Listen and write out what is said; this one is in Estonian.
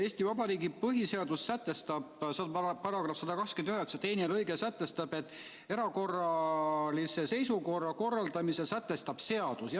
Eesti Vabariigi põhiseaduse § 129 teine lõige sätestab, et erakorralise seisukorra korralduse sätestab seadus.